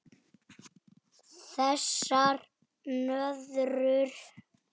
Þessar nöðrur!